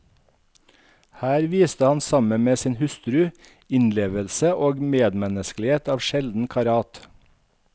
Her viste han, sammen med sin hustru, innlevelse og medmenneskelighet av sjelden karat.